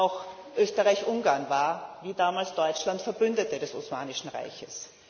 Auch Österreich Ungarn war, wie damals Deutschland, Verbündeter des Osmanischen Reiches.